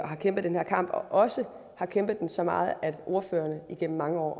har kæmpet den her kamp og også har kæmpet den så meget at ordførerne igennem mange år